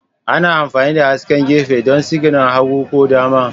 Ana amfani da hasken gefe don sigina hagu ko dama